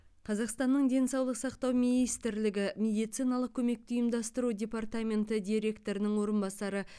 қазақстанның денсаулық сақтау министрлігі медициналық көмекті ұйымдастыру департаменті директорының орынбасары